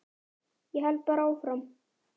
Ég held bara áfram.